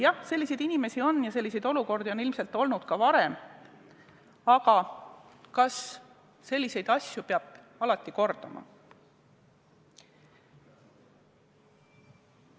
Jah, selliseid inimesi on ja selliseid olukordi on ilmselt olnud ka varem, aga kas selliseid asju peab kordama?